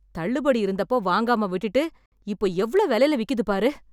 தள்ளுபடி இருந்தப்போ வாங்காம விட்டுட்டு இப்போ எவ்ளோ வெலைல விக்குதுப் பாரு!